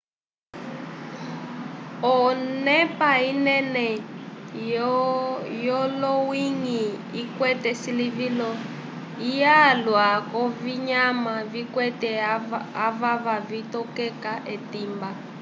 onepa inene yolonyĩhi ikwete silivilo lyalwa k'ovinyama vikwete avava vitokeka etimba